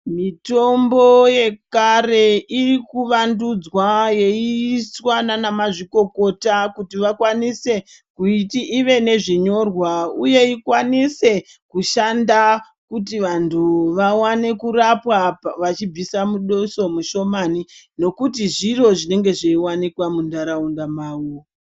Mitombo yekare iri kuvandudzwa yeiiswa naanamazvikokota kuti vakwanise, kuiti ive nezvinyorwa, uye ikwanise, kushanda kuti vantu vawane kurapwa vachibvisa muduso mushomani, nokuti zviro zvinenge zveiwanikwa muntaraunda mavo.